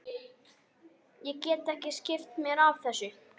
Ég get ekki skipt mér af þessu.